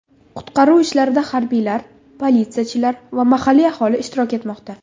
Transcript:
Qutqaruv ishlarida harbiylar, politsiyachilar va mahalliy aholi ishtirok etmoqda.